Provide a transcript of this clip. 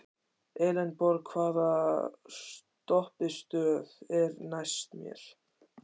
Elenborg, hvaða stoppistöð er næst mér?